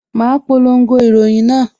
Ma polongo ìròyìn náà